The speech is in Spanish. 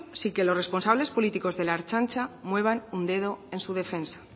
sin que los responsables políticos de la ertzaintza muevan un dedo en su defensa